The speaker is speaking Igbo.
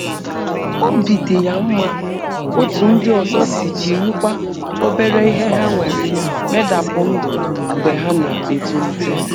Obi dị ya mma otú ndị ọzọ si jirikwa òbèrè ihe ha nwere medapụ ndụ mgbe ha na-etolite.